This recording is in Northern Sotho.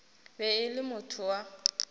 be e le motho wa